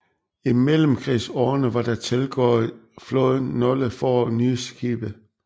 I mellemkrigsårene var der tilgået flåden nogle få nye skibe